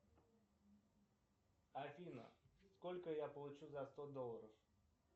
афина сколько я получу за сто долларов